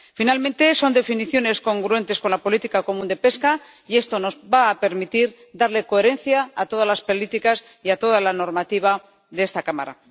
Finalmente, son definiciones congruentes con la política común de pesca, y esto nos va a permitir darle coherencia a todas las políticas y a toda la normativa de esta Cámara.